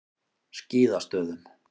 Skíðastöðum